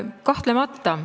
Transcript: Kahtlemata.